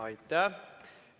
Aitäh!